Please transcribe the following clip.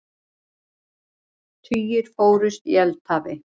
Tugir fórust í eldhafi